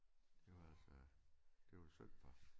Det var altså det var synd for dem